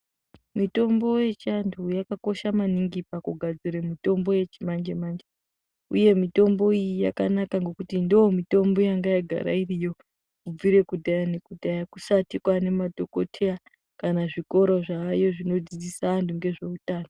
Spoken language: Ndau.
Mitombo yechiantu yakakosha maningi pakugadzire mitombo yechimanjemanje. Uye mitombo iyi yakanaka ngekuti ndoo mitombo yanga yagara iriyo kubvire kudhaya nekudhaya kusati kwaane madhokotheya, kana zvikoro zvaayo zvinodzidzisa antu ngezveutano.